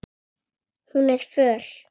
Og hún er föl.